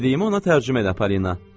Dediyimi ona tərcümə elə Polina.